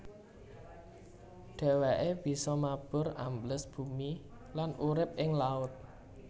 Dhèwèké bisa mabur ambles bumi lan urip ing laut